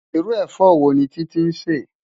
Irú efò wóni Titi nsè?